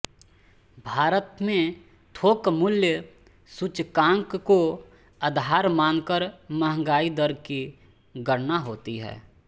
भारत में थोक मूल्य सूचकांक को आधार मान कर महँगाई दर की गणना होती है